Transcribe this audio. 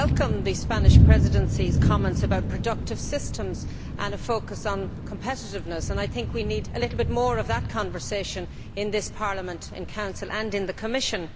I welcome the Spanish Presidency's comments about productive systems and a focus on competitiveness. I think we need a little bit more of that conversation in this Parliament, in Council and in the Commission.